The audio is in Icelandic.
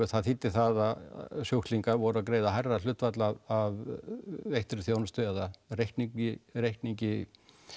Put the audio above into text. það þýddi að sjúklingar voru að greiða hærra hlutfall af veittri þjónustu eða reikningi reikningi